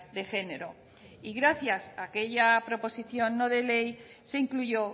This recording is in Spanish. de género y gracias a aquella proposición no de ley se incluyó